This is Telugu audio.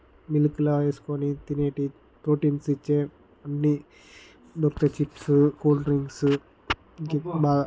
మిల్క్ లో ఏసుకొని తినేటి ప్రొటీన్స్ ఇచ్చే అన్ని చిప్స్ కూల్ డ్రింక్స్ గిన్న